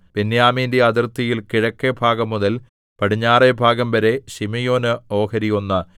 ബെന്യാമീന്റെ അതിർത്തിയിൽ കിഴക്കെഭാഗംമുതൽ പടിഞ്ഞാറെ ഭാഗംവരെ ശിമെയോന് ഓഹരി ഒന്ന്